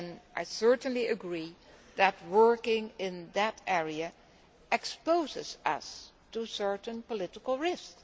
outcome. I certainly agree that working in that area exposes us to certain political